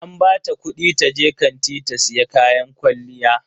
An bata kudi taje kanti ta siya kayan kwalliya.